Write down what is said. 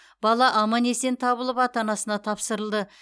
бала аман есен табылып ата анасына тапсырылды